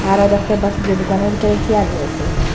আরো দেখতে পারছি যে দোকানের ভিতরে চিয়ার রয়েসে।